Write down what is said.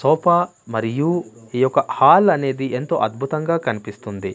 Sofa మరియు ఈ యొక్క హాల్ అనేది ఎంతో అద్భుతంగా కనిపిస్తుంది.